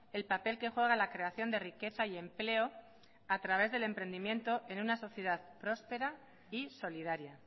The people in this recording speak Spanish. el papel que juega la creación de riqueza y empleo a través del emprendimiento en una sociedad próspera y solidaria